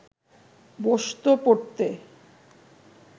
বসতো পড়তে